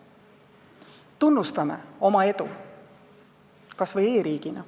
Tunnustagem oma edu kas või e-riigina.